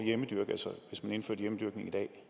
man indførte hjemmedyrkning i dag